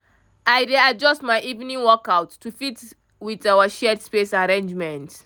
i dey adjust my evening workouts to fit with our shared space arrangement.